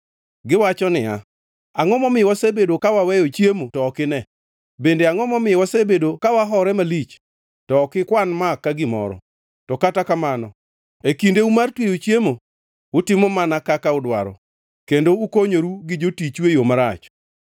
Giwacho niya, ‘Angʼo momiyo wasebedo ka waweyo chiemo to ok ine? Bende angʼo momiyo wasebedo ka wahore malich to ok ikwan ma ka gimoro?’ “To kata kamano e kindeu mar tweyo chiemo, utimo mana kaka udwaro, kendo ukonyoru gi jotichu e yo marach.